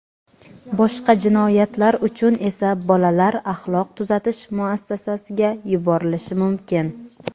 Boshqa jinoyatlar uchun esa bolalar axloq tuzatish muassasasiga yuborilishi mumkin.